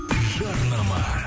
жарнама